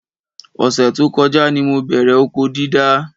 Ọ̀sẹ̀ tó kọjá ni mo bẹ̀rẹ̀ oko dídá